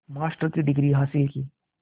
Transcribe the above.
master की degree हासिल की